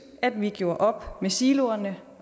at vi gjorde op med siloerne